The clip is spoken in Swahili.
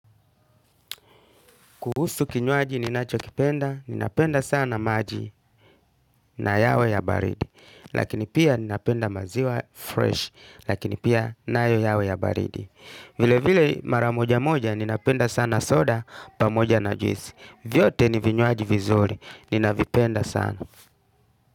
Kuhusu kinywaji ninachokipenda, ninapenda sana maji na yawe ya baridi. Lakini pia ninapenda maziwa fresh, lakini pia nayo yawe ya baridi. Vile vile mara moja moja ninapenda sana soda pamoja na juisi. Vyote ni vinywaji vizuri, ninavipenda sana.